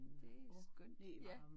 Det er skønt ja